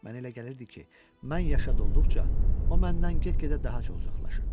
Mənə elə gəlirdi ki, mən yaşad olduqca, o məndən get-gedə daha çox uzaqlaşırdı.